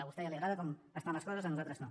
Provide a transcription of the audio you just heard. a vostè ja li agrada com estan les coses a nosaltres no